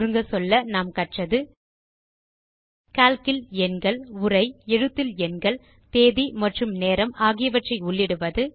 சுருங்கச்சொல்ல நாம் கற்றது கால்க் இல் எண்கள் உரை எழுத்தில் எண்கள் தேதி மற்றும் நேரம் ஆகியவற்றை உள்ளிடுவது